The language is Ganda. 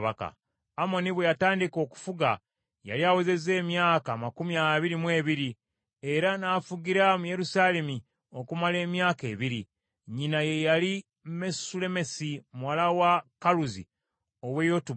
Amoni lwe yatandika okufuga, yali awezezza emyaka amakumi abiri mu ebiri, era n’afugira mu Yerusaalemi okumala emyaka ebiri. Nnyina ye yali Mesullemesi muwala wa Kaluzi ow’e Yotuba.